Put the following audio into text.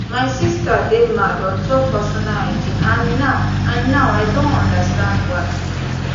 my sister dey mad on top personal hygiene and now and now i don understand why